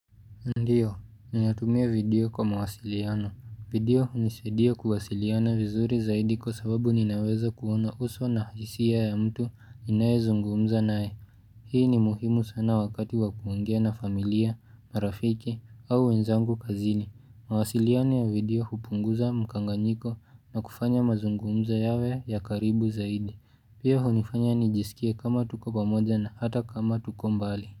Ndiyo, ninatumia video kwa mawasiliano. Video hunisaidia kuwasiliana vizuri zaidi kwa sababu ninaweza kuona uso na hisia ya mtu ninayezungumza naye. Hii ni muhimu sana wakati wa kuongea na familia, marafiki au wenzangu kazini. Mawasiliano ya video hupunguza mkanganyiko na kufanya mazungumza yawe ya karibu zaidi. Pia hunifanya nijiskie kama tuko pamoja na hata kama tuko mbali.